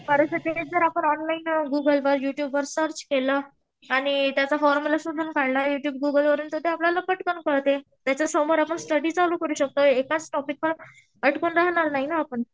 परंतु तेच जर ऑनलाईन गुगलवर युट्युब वर सर्च केलं आणि त्याचा फॉर्म्युला शोधून काढला. युट्युब, गुगल वरून तर ते आपल्याला पटकन कळते. त्याच्यासमोर आपण स्टडी चालू करू शकतो. एकाच टॉपिकवर अटकून राहणार नाही ना आपण.